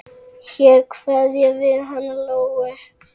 Hér kveðjum við hana Lóu.